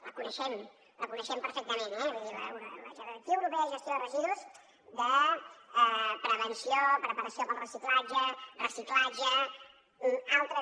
la coneixem la coneixem perfectament la jerarquia europea de gestió de residus prevenció preparació per a la reutilització reciclatge altres